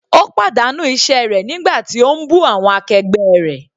Ó pàdánù iṣẹ́ rẹ̀ nígbà tí ó ń bú awọn akẹgbẹ́ rẹ̀.